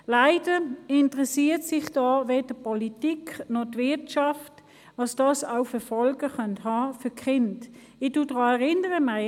Leider interessiert sich weder die Politik noch die Wirtschaft dafür, welche Folgen die externe Betreuung bei den Kindern haben könnte.